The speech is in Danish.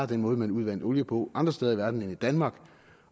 den måde man udvandt olie på andre steder i verden ville i danmark